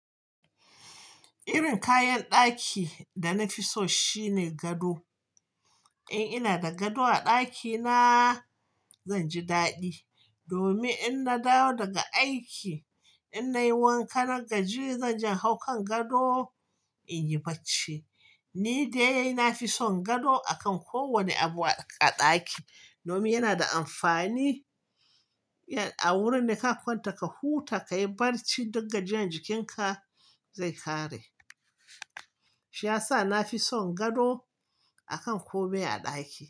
Irin kayan ɗaki da na fi so shine gado. In ina da gado a ɗakina zan ji daɗi, domin in na dawo daga aiki in nayi wankan na gaji zan je in haukan gado, in yi barci. Ni dai na fi son gado a kan kowane abu a ɗaki domin yana da amfani. A wurin da ka kwanta ka huta ka yi barci duk gajeren jikinka zai ƙare. Shi ya sa na fi son gado a kan kome a ɗaki.